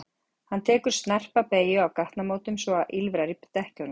Hann tekur tekur snarpa beygju á gatnamótum svo að ýlfrar í dekkjunum.